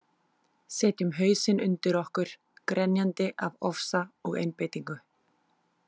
Setjum hausinn undir okkur grenjandi af ofsa og einbeitingu.